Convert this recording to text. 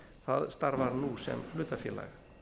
það starfar nú sem hlutafélag